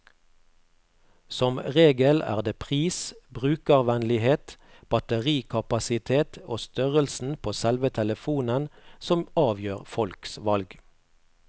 Som regel er det pris, brukervennlighet, batterikapasitet og størrelsen på selve telefonen som avgjør folks valg.